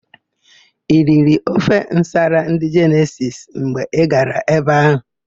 I riri ofe nsala ndị Jenesisi mgbe Ị gara ebe áhụ̀?